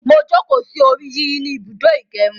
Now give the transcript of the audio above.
Mo jókòó sí orí yíyí ni ibùdó ìgẹrun